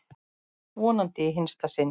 Vonandi í hinsta sinn.